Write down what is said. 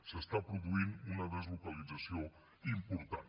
s’està produint una deslocalització important